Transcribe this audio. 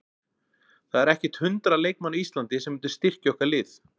Það eru ekkert hundrað leikmenn á Íslandi sem myndu styrkja okkar lið.